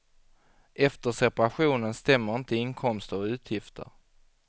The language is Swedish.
Efter separationen stämmer inte inkomster och utgifter.